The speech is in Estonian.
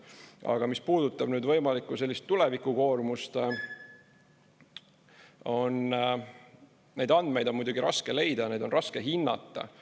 Aga mis puudutab võimalikku tulevikukoormust, siis neid andmeid on muidugi raske leida, neid on raske hinnata.